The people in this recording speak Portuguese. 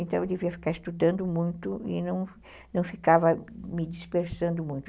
Então, eu devia ficar estudando muito e não não ficava me dispersando muito.